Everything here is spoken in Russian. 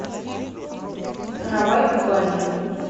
каравай кубани